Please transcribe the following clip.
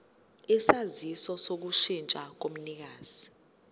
isaziso sokushintsha komnikazi